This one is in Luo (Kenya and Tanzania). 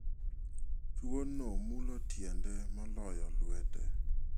Tuo no mulo tiende moloyo lwete.